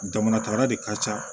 Jamana tara de ka ca